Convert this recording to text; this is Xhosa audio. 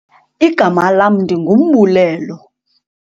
Igama lam ndinguMbulelo.